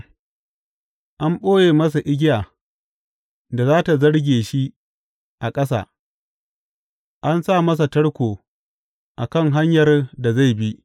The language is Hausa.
An ɓoye masa igiya da za tă zarge shi a ƙasa; an sa masa tarko a kan hanyar da zai bi.